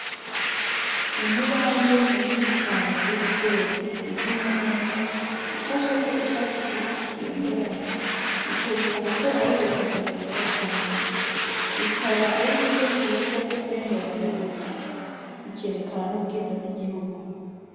Umubande mu nini cane w'ibigori urimye neza ushasheko icatsi kibisi kibengerana bikerekana ko ari ubutaka bwiza cane bikaba ari uburyo bwiza bwo ku bungabunga ubutaka bikerekana n'ubwiza bw'igihugu.